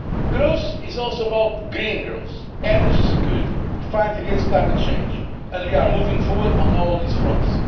Growth is also about green growth, energy security and the fight against climate change, and we are moving forward on all these fronts.